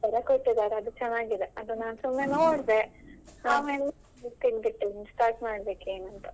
ಕೊಟ್ಟಿದ್ದಾರೆ ಅದು ಚೆನ್ನಾಗಿದೆ ಅದನ್ ನಾನ್ ಸುಮ್ನೆ ನೋಡ್ದೆ book ತೆಗ್ದಿಟ್ಟಿದ್ದೇನೆ ಆದ್ಮೇಲೆ start ಮಾಡಬೇಕು ಏನು ಅಂತ.